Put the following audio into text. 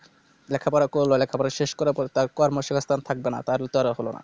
লেখাপড়া করলো লেখাপড়া শেষ করার পর তার কর্মসংস্থান থাকবে না তার হলো না